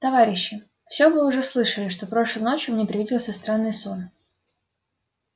товарищи всё вы уже слышали что прошлой ночью мне привиделся странный сон